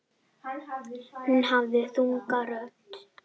Hún hafði þunga rödd.